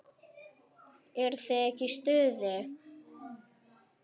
Eruð þið ekki í stuði?